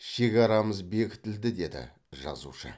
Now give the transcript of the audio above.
шекарамыз бекітілді деді жазушы